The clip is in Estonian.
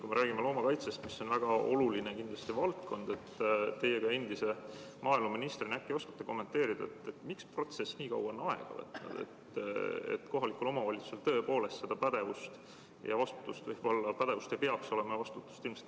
Kui me räägime loomakaitsest, mis on kindlasti väga oluline valdkond, siis teie ka endise maaeluministrina äkki oskate kommenteerida, miks see protsess, et kohalikul omavalitsusel seda pädevust ja vastutust ei peaks olema, on nii kaua aega võtnud?